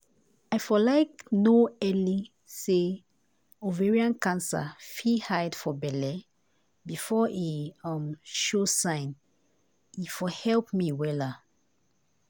i for like no early say ovarian cancer fit hide for belle befor e um show sign e for help me wella.